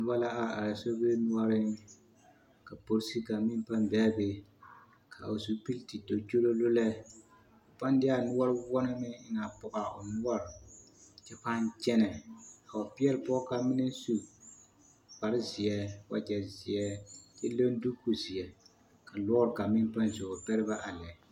Noba la are are sobiri noɔreŋ ka polisi kaŋ meŋ pãã be a be ka o zupili the do kyololo lɛ, k'o pãã de a noɔre woɔ na meŋ pɔge a o noɔre kyɛ pãã kyɛnɛ a wa peɛle pɔge kaŋ meŋ naŋ su kpare zeɛ, wagyɛ zeɛ kyɛ leŋ duuku zeɛ ka lɔɔre kaŋ meŋ pãã zo wa pɛre ba a lɛ.